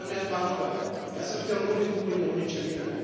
Dámy a pánové, já jsem chtěl mluvit úplně o něčem jiném.